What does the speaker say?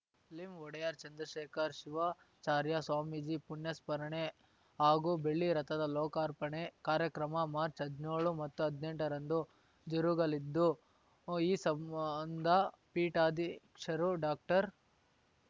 ಲಿಂ ಒಡೆಯರ್‌ ಚಂದ್ರಶೇಖರ್ ಶಿವಾಚಾರ್ಯ ಸ್ವಾಮೀಜಿ ಪುಣ್ಯಸ್ಮರಣೆ ಹಾಗೂ ಬೆಳ್ಳಿ ರಥದ ಲೋಕಾರ್ಪಣೆ ಕಾರ್ಯಕ್ರಮ ಮಾರ್ಚ್ ಹದ್ನ್ಯೋಳು ಮತ್ತು ಹದ್ನೆಂಟರಂದು ಜರುಗಲಿದ್ದು ಈ ಸಂಬಂಧ ಪೀಠಾಧ್ಯಕ್ಷರು ಡಾಕ್ಟರ್